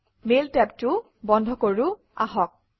mail টেবটোও বন্ধ কৰোঁ আহক